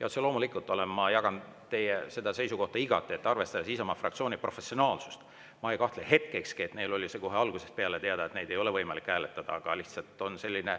Ja otse loomulikult ma jagan igati teie seda seisukohta, et arvestades Isamaa fraktsiooni professionaalsust, ma ei kahtle hetkekski, et neil oli see kohe algusest peale teada, et neid ei ole võimalik hääletada, aga lihtsalt on selline